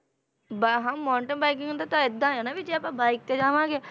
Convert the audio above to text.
ਬਾ~ ਹਾਂ mountain biking ਦਾ ਤਾਂ ਏਦਾਂ ਹੈ ਨਾ ਵੀ ਜੇ ਆਪਾਂ bike ਤੇ ਜਾਵਾਂਗੇ,